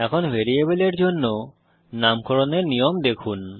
এখন ভ্যারিয়েবলের জন্য নামকরণের নিয়ম দেখুন